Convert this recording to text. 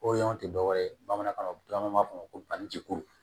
O y'anw tɛ dɔwɛrɛ ye bamanankan na an b'a fɔ ko banjikuru